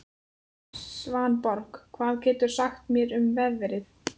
Svanborg, hvað geturðu sagt mér um veðrið?